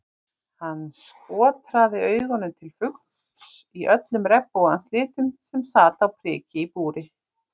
Hann skotraði augunum til fugls í öllum regnbogans litum sem sat á priki í búri.